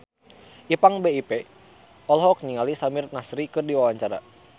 Ipank BIP olohok ningali Samir Nasri keur diwawancara